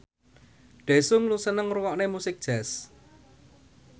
Daesung seneng ngrungokne musik jazz